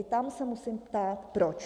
I tam se musím ptát, proč.